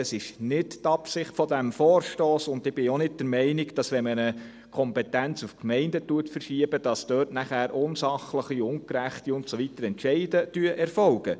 Dies ist nicht die Absicht dieses Vorstosses, und ich bin auch nicht der Meinung, dass dort unsachliche, ungerechte Entscheide erfolgen, wenn man eine Kompetenz auf die Gemeinden verschiebt.